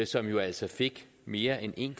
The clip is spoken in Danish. som jo altså fik mere end en